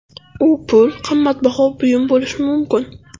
U pul, qimmatbaho buyum bo‘lishi mumkin.